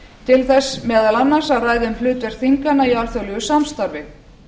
til þess meðal annars að ræða um hlutverk þinganna í alþjóðlegu samstarfi